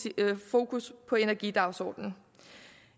fokus på energidagsordenen